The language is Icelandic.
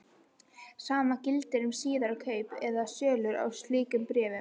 Sama gildir um síðari kaup eða sölur á slíkum bréfum.